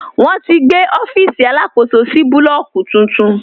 Wọn ti gbé ọfiisi alákòsó sì búlọ́ọ̀kì tuntun.